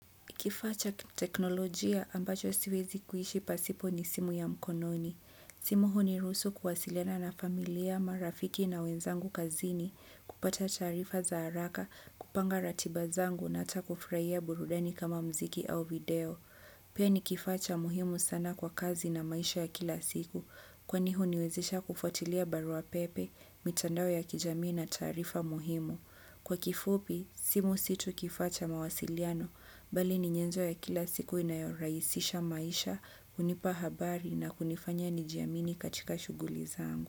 Kifaa cha kiteknolojia ambacho siwezi kuishi pasipo ni simu ya mkononi. Simu huniruhusu kuwasiliana na familia, marafiki na wenzangu kazini, kupata taarifa za haraka, kupanga ratiba zangu na hata kufurahia burudani kama mziki au video. Pia ni kifacha muhimu sana kwa kazi na maisha ya kila siku, kwani huniwezesha kufuatilia barua pepe, mitandao ya kijamii na taarifa muhimu. Kwa kifupi, simu situ kifaa cha mawasiliano, bali ni nyenzo ya kila siku inayorahisisha maisha, hunipa habari na kunifanya nijiamini katika shughuli zangu.